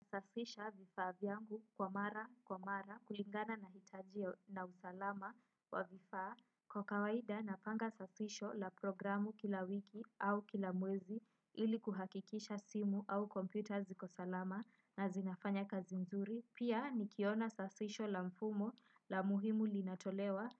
Nasafisha vifaa vyangu kwa mara kwa mara kulingana na hitajio na usalama wa vifaa. Kwa kawaida na panga safisho la programu kila wiki au kila mwezi ili kuhakikisha simu au komputa ziko salama na zinafanya kazi mzuri. Pia nikiona safisho la mfumo la muhimu linatolewa,